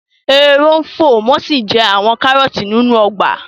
Ehoro ń fò wọ́n sì ń jẹ àwọn kárọ̀ọ̀tì nínú ọgbà